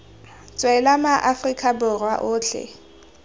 tswela ma aforika borwa otlhe